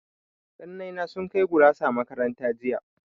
Ƙannai na sun kai gurasa makaranta jiya.